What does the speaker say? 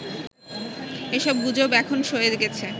এসব গুজব এখন সয়ে গেছে